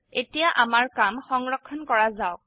এতিয়া আমি আমাৰ কাম সংৰক্ষণ কৰা যাওক